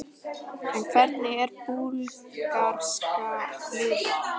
En hvernig er búlgarska liðið?